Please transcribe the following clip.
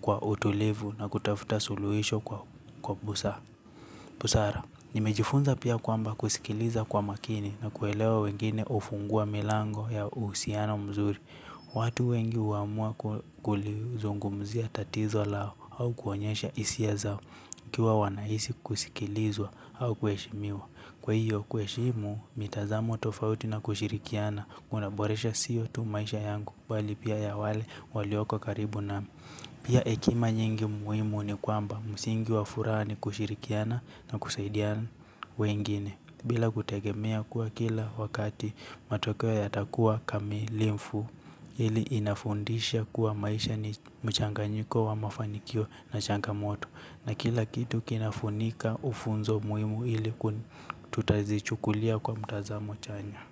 kwa utulivu na kutafuta suluhisho kwa busara. Busara, nimejifunza pia kwamba kusikiliza kwa makini na kuelewa wengine hufungua milango ya uhusiano mzuri. Watu wengi huamua kulizungumzia tatizo lao au kuonyesha hisia zao wakiwa wanahisi kusikilizwa au kuheshimiwa. Kwa hiyo kuheshimu mitazamo tofauti na kushirikiana kunaboresha siyo tu maisha yangu bali pia ya wale walioko karibu nami. Pia hekima nyingi muhimu ni kwamba msingi wa furaha ni kushirikiana na kusaidia wengine bila kutegemea kuwa kila wakati matokeo yatakuwa kamilifu. Hili inafundisha kuwa maisha ni mchanganyiko wa mafanikio na changamoto na kila kitu kinafunika ufunzo muhimu ili tutazichukulia kwa mtazamo chanya.